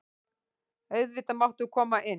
Auðvitað máttu koma inn.